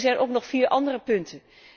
Maar er zijn nog vier andere punten.